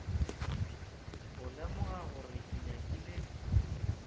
go lemoga gore ke nyakile